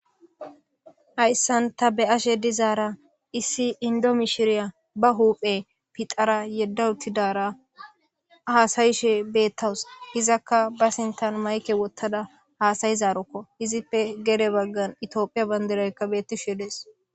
Haysan ta be'ashe dizara issi Indo mishiriya huphiya phidhara yeda utidara hasa'she betawus izaka ba sinten mayke wotada hasa'izaroko izipe gede bagara itopia bandirayka betishe dees.